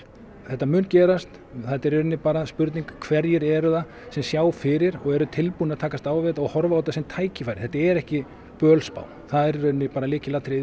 þetta mun gerast þetta er í rauninni bara spurning hverjir eru það sem sjá fyrir og eru tilbúnir að takast á við þetta og horfa á þetta sem tækifæri þetta er ekki bölspá það er í rauninni bara lykilatriðið